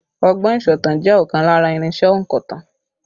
Ọgbọ́n ìsọ̀tàn jẹ́ ọ̀kan lára irinsẹ́ ònkọ̀tan